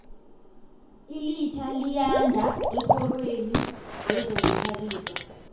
ilitjha liyanda ekorweni yezokuzithabisa